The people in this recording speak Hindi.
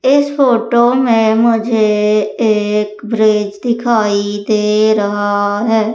इस फोटो में मुझे एक ब्रिज दिखाई दे रहा है।